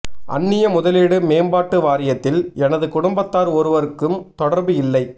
அன்னிய முதலீடு மேம்பாட்டு வாரியத்தில் எனது குடும்பத்தார் ஒருவருக்கும் தொடர்பு இல்லை